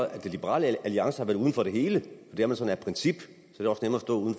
at liberal alliance har været uden for det hele det er man sådan af princip